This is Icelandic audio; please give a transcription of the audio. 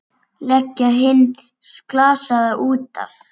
Leggja hinn slasaða út af.